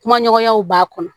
Kuma ɲɔgɔnyaw b'a kɔnɔ